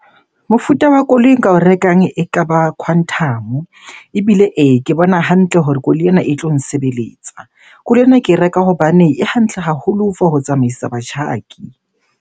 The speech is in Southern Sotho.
Mofuta wa koloi e nka o rekang ekaba Quantum-o. Ebile ee, ke bona hantle hore koloi ena e tlo nsebeletsa. Koloi ena ke e reka hobane e hantle haholo for ho tsamaisa batjhaki.